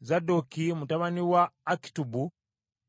Zadooki mutabani wa Akitubu